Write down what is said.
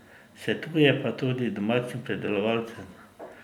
Svetuje pa tudi domačim pridelovalcem.